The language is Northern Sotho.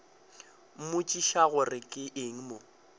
mmotšiša gore ke eng o